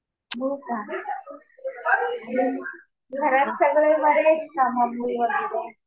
हो का. घरात सगळे बरे आहेत का मम्मी वगैरे?